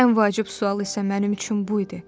Ən vacib sual isə mənim üçün bu idi.